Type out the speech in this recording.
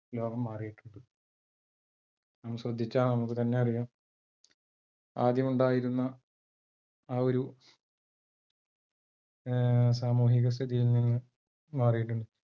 ലോകം മാറീട്ടുണ്ട് ഒന്ന് ശ്രദ്ധിച്ചാൽ നമുക്ക് തന്നെ അറിയാം ആദ്യമുണ്ടായിരുന്ന ആ ഒരു ഏർ സാമൂഹിക സ്ഥിയിൽ നിന്ന് മാറീട്ടുണ്ട്